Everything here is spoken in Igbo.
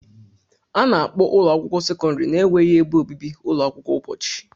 A na-akpọ ụlọ akwụkwọ sekọndrị na-enweghị ebe obibi ụlọ akwụkwọ ụbọchị.